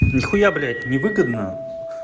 нихуя блядь невыгодно